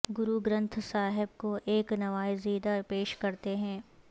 گرو گرینتھ صاحب کو ایک نوزائیدہ پیش کرتے ہیں